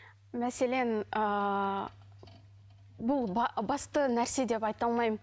мәселен ыыы бұл басты нәрсе деп айта алмаймын